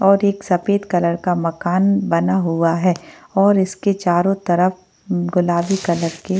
और एक सफेद कलर का मकान बना हुआ है और इसके चारों तरफ गुलाबी कलर के--